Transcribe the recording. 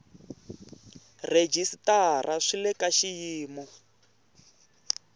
rhejisitara swi le ka xiyimo